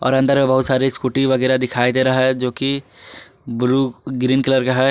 और अंदर में बहुत सारे स्कूटी वगैरा दिखाई दे रहा है जो कि ब्लू ग्रीन कलर का है।